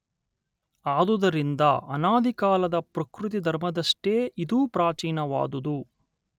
ಆದುದರಿಂದ ಅನಾದಿಕಾಲದ ಪ್ರಕೃತಿ ಧರ್ಮದಷ್ಟೇ ಇದೂ ಪ್ರಾಚೀನವಾದುದು